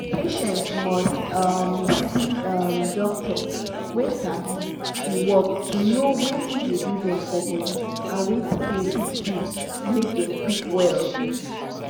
patient must um see um doctor wey sabi e work to know watin dey do dem for body and watin dem fit do make dem quick well.